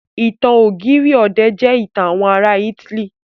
Ìtàn ọ̀gírì ọ̀dẹ̀ jẹ́ ìtàn àwọn ará ítílì.